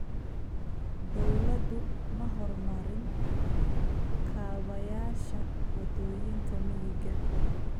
Dawladdu ma horumarin kaabayaasha waddooyinka miyiga.